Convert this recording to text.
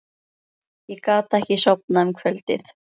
Ég gat ekki sofnað um kvöldið.